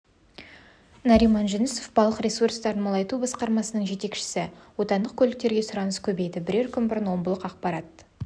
нариман жүнісов балық ресурстарын молайту басқармасының жетекшісі отандық көліктерге сұраныс көбейді бірер күн бұрын омбылық ақпарат